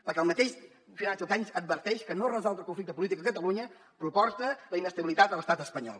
perquè el mateix financial times adverteix que no resoldre el conflicte polític a catalunya comporta la inestabilitat a l’estat espanyol